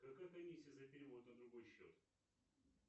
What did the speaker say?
какая комиссия за перевод на другой счет